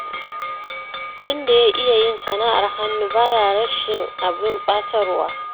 Wanda ya iya yin sana'ar hannu baya rashin abin ɓatarwa.